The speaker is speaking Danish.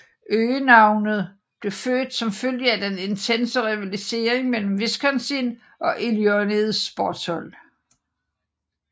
Øgenavnet blev født som følge af den intense rivalisering mellem Wisconsin og Illinois sportshold